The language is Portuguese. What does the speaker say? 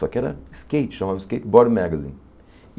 Só que era skate, chamava skateboard magazine.